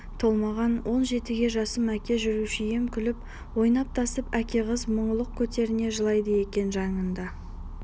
толмаған он жетіге жасым әке жүруші ем күліп-ойнап тасып әке қыз мұңлық кетерінде жылайды екен жанында